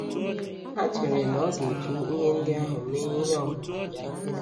Ha chere na ọ ga-eji ihe ndị ahụ mee ihe n’ọmụmụ ya.